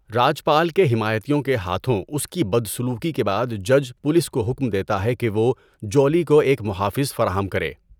راجپال کے حمایتیوں کے ہاتھوں اس کی بدسلوکی کے بعد جج پولیس کو حکم دیتا ہے کہ وہ جولی کو ایک محافظ فراہم کرے۔